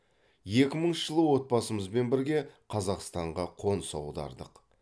екі мыңыншы жылы отбасымызбен бірге қазақстанға қоныс аудардық